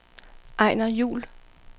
Ejner Juhl